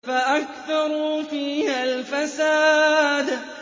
فَأَكْثَرُوا فِيهَا الْفَسَادَ